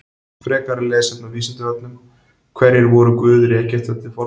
Frekara lesefni á Vísindavefnum: Hverjir voru guðir Egypta til forna?